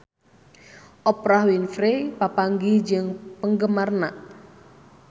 Oprah Winfrey papanggih jeung penggemarna